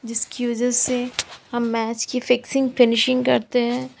इसकी वजह से हम मैच की फिक्सिंग फिनिशिंग करते हैं।